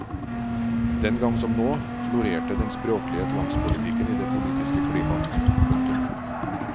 Den gang som nå florerte den språklige tvangspolitikken i det politiske klima. punktum